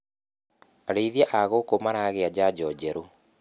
Arĩithia a ngũkũ maragia njanjo njerũ.